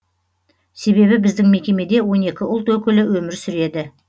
себебі біздің мекемеде он екі ұлт өкілі өмір сүреді